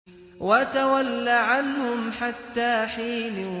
وَتَوَلَّ عَنْهُمْ حَتَّىٰ حِينٍ